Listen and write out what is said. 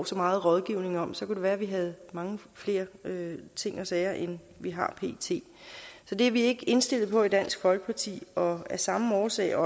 så meget rådgivning om så kunne det være vi havde mange flere ting og sager end vi har pt så det er vi ikke indstillet på i dansk folkeparti og af samme årsag og